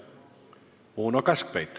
Uno Kaskpeit.